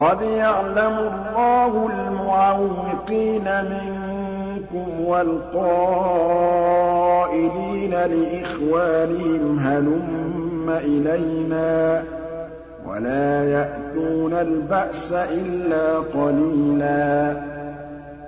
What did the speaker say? ۞ قَدْ يَعْلَمُ اللَّهُ الْمُعَوِّقِينَ مِنكُمْ وَالْقَائِلِينَ لِإِخْوَانِهِمْ هَلُمَّ إِلَيْنَا ۖ وَلَا يَأْتُونَ الْبَأْسَ إِلَّا قَلِيلًا